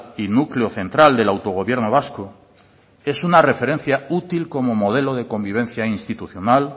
y núcleo central del autogobierno vasco es una referencia útil como modelo de convivencia institucional